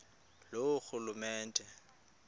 loorhulumente